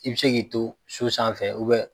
I bɛ se k'i to so sanfɛ